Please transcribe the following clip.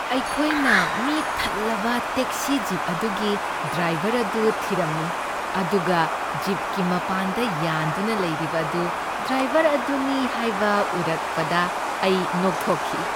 ꯑꯩꯈꯣꯏꯅ ꯃꯤ ꯊꯜꯂꯕ ꯇꯦꯛꯁꯤ ꯖꯤꯞ ꯑꯗꯨꯒꯤ ꯗ꯭ꯔꯥꯏꯕꯔ ꯑꯗꯨ ꯊꯤꯔꯝꯃꯤ ꯑꯗꯨꯒ ꯖꯤꯞꯀꯤ ꯃꯄꯥꯟꯗ ꯌꯥꯟꯗꯨꯅ ꯂꯩꯔꯤꯕ ꯑꯗꯨ ꯗ꯭ꯔꯥꯏꯕꯔ ꯑꯗꯨꯅꯤ ꯍꯥꯏꯕ ꯎꯔꯛꯕꯗ ꯑꯩ ꯅꯣꯛꯊꯣꯛꯈꯤ꯫